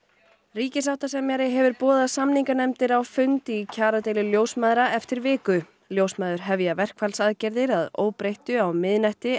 ríkissáttasemjari hefur boðað samninganefndir á fund í kjaradeilu ljósmæðra eftir viku ljósmæður hefja verkfallsaðgerðir að óbreyttu á miðnætti